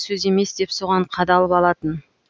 сөз емес деп соған қадалып алатын